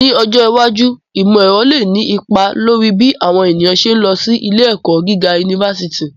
Ni ojo iwaju, imọ-ẹrọ le ni ipa lori bi awọn eniyan ṣe ń lọ si ile-ẹkọ giga unifásitì